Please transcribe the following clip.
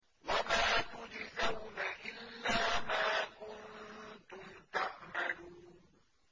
وَمَا تُجْزَوْنَ إِلَّا مَا كُنتُمْ تَعْمَلُونَ